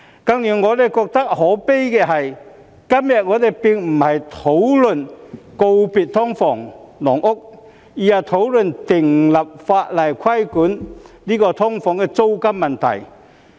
更加令我覺得可悲的是，今日我們並不是討論如何告別"劏房"、"籠屋"，而是討論訂立法例規管"劏房"的租金問題。